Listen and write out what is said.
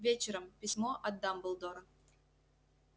вечером письмо от дамблдора